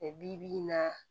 bi-bi in na